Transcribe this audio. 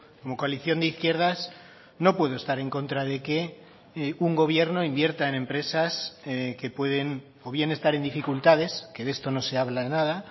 como coalición de izquierdas no puedo estar en contra de que un gobierno invierta en empresas que pueden o bien estar en dificultades que de esto no se habla nada